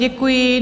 Děkuji.